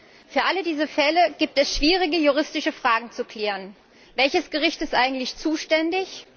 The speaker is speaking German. Bei allen diesen Fällen gibt es schwierige juristische Fragen zu klären Welches Gericht ist eigentlich zuständig?